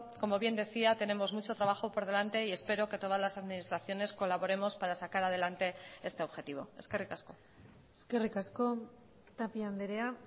como bien decía tenemos mucho trabajo por delante y espero que todas las administraciones colaboremos para sacar adelante este objetivo eskerrik asko eskerrik asko tapia andrea